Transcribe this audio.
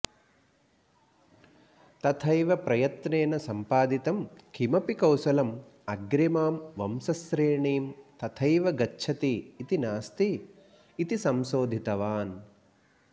तथैव प्रयत्नेन सम्पादितं किमपि कौशलम् अग्रिमां वंशश्रेणीं तथैव गच्छति इति नास्ति इति संशोधितवान्